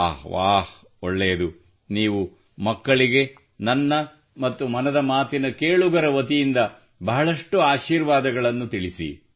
ವಾಹ್ ವಾಹ್ ಒಳ್ಳೆಯದು ನೀವು ಮಕ್ಕಳಿಗೆ ನನ್ನ ಮತ್ತು ಮನದ ಮಾತಿನ ಕೇಳುಗರ ವತಿಯಿಂದ ಬಹಳಷ್ಟು ಆಶೀರ್ವಾದಗಳನ್ನು ತಿಳಿಸಿ